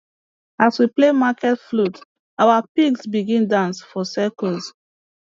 as we play market flute our pigs begin dance for circles